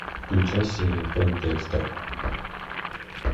включай серия пять декстер